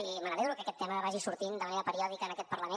i m’alegro que aquest tema vagi sortint de manera periòdica en aquest parlament